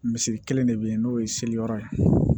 Misiri kelen de bɛ yen n'o ye seli yɔrɔ ye